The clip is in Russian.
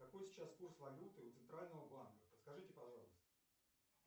какой сейчас курс валюты у центрального банка подскажите пожалуйста